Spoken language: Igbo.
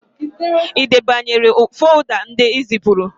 Ị debanyere folda ndị ezipụrụ?